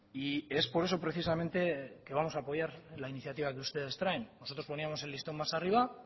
y es por eso precisamente que vamos a apoyar la iniciativa que ustedes traen nosotros poníamos el listón más arriba